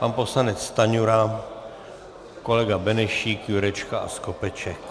Pan poslanec Stanjura, kolega Benešík, Jurečka a Skopeček.